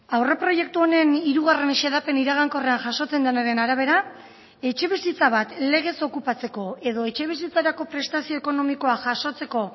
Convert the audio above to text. aurreproiektu honen hirugarren xedapen iragankorrean jasotzen denaren arabera etxebizitza bat legez okupatzeko edo etxebizitzarako prestazio ekonomikoa jasotzeko